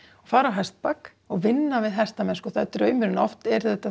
fara á hestbak og vinna við hestamennsku það er draumurinn oft er þetta